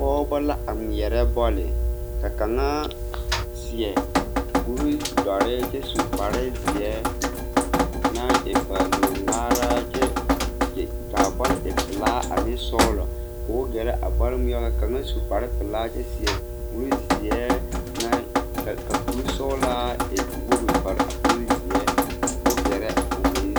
Pɔɔbɔ la a ngmeɛrɛ bɔɔle ka kaŋa seɛ kuridɔre kyɛ su kparezeɛ naŋ e baalug ngmaara a kyɛ kaa bɔl e pelaa ane sɔglɔ koo gɛrɛ a bɔl ngmeɛbo kaŋa su kparepelaa a kyɛ seɛ kurizeɛ naŋ ka ka kurisɔglaa naŋ e woge pare a kurizeɛ ko o gɛrɛ o meŋ.